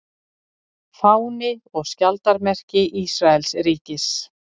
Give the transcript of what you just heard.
Fáni og skjaldarmerki Ísraelsríkis.